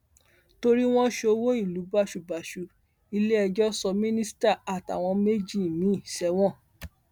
torí wọn ṣọwọ ìlú báṣubàṣu iléẹjọ sọ mínísítà àtàwọn méjì míín sẹwọn